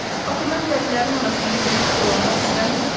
Axı mən dəlilərin arasında gəzib dolanmaq istəmirəm.